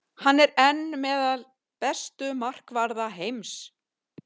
Hann er enn meðal bestu markvarða heims.